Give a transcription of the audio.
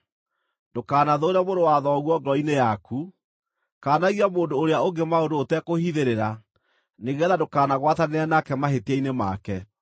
“ ‘Ndũkanathũũre mũrũ wa thoguo ngoro-inĩ yaku. Kaanagia mũndũ ũrĩa ũngĩ maũndũ ũtekũhithĩrĩra nĩgeetha ndũkanagwatanĩre nake mahĩtia-inĩ make.